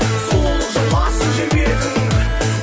сұлулық жайласын жер бетін